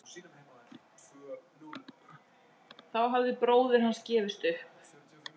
Þá hafði bróðir hans gefist upp.